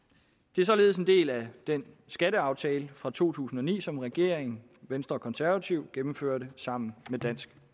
det er således en del af den skatteaftale for to tusind og ni som regeringen venstre og konservative gennemførte sammen med dansk